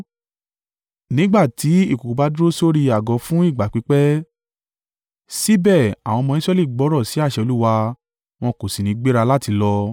Nígbà tí ìkùùkuu bá dúró sórí àgọ́ fún ìgbà pípẹ́, síbẹ̀ àwọn ọmọ Israẹli gbọ́rọ̀ sí àṣẹ Olúwa wọn kò sì ní gbéra láti lọ.